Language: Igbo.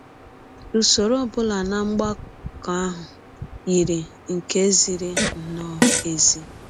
Usọrọ ọ bụla na mgbakọ ahụ yiri nke ziri nnọọ ezi..